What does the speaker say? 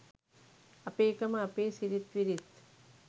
අපේකම අපේ සිරිත්විරිත්.